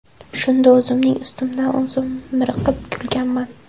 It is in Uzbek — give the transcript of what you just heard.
Shunda o‘zimning ustimdan o‘zim miriqib kulganman.